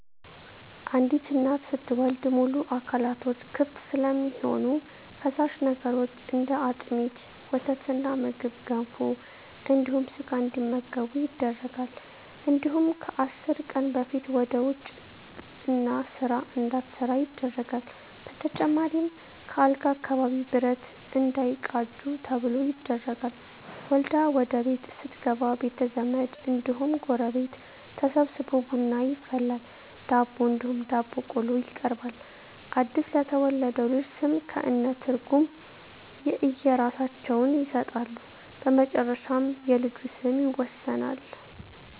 አንዲት እናት ስትወልድ ሙሉ አካላቶች ክፍት ስለሚሆኑ ፈሳሽ ነገሮች እንደ አጥሚት: ወተትና ምግብ ገንፎ እንዲሁም ስጋ እንዲመገቡ ይደረጋል እንዲሁም ከአስር ቀን በፊት ወደ ውጭ እና ስራ እንዳትሠራ ይደረጋል በተጨማሪም ከአልጋ አካባቢ ብረት እንዳይቃጁ ተብሎ ይደረጋል። ወልዳ ወደቤት ስትገባ ቤተዘመድ እንዲሁም ጎረቤት ተሠብስቦ ቡና ይፈላል ዳቦ እንዲሁም ዳቦ ቆሎ ይቀርባል አድስ ለተወለደው ልጅ ስም ከእነ ትርጉም የእየራሳቸውን ይሠጣሉ በመጨረሻ የልጁ ስም ይወሰናል።